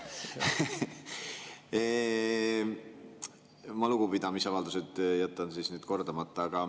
Ma oma lugupidamisavaldused jätan kordamata.